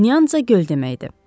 Nyanza göl deməkdir.